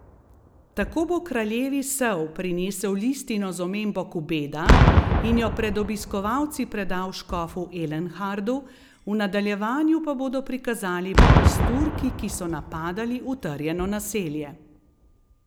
Tako bo kraljevi sel prinesel listino z omembo Kubeda in jo pred obiskovalci predal škofu Elenhardu, v nadaljevanju pa bodo prikazali boj s Turki, ki so napadali utrjeno naselje.